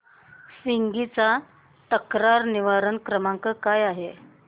Swiggy चा तक्रार निवारण क्रमांक काय आहे